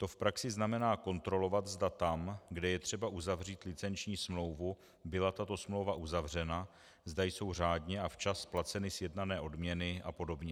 To v praxi znamená kontrolovat, zda tam, kde je třeba uzavřít licenční smlouvu, byla tato smlouva uzavřena, zda jsou řádně a včas placeny sjednané odměny a podobně.